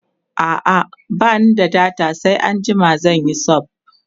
a'a bani da data sai anjima zanyi sub